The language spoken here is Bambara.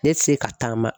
Ne tɛ se ka taama